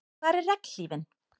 Hvar er regnhlífin?